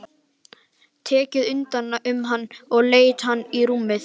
Tekið utan um hann og leitt hann í rúmið.